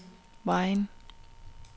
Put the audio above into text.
Vejen